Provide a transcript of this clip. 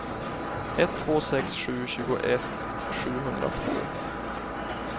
ett två sex sju tjugoett sjuhundratvå